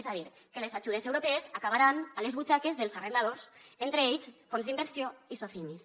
és a dir que les ajudes europees acabaran a les butxaques dels arrendadors entre ells fons d’inversió i socimis